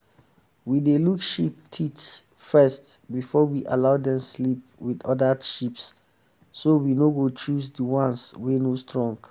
we dey look sheep teeth first before we allow dem sleep with um other sheeps so we no go choose the ones wey no strong.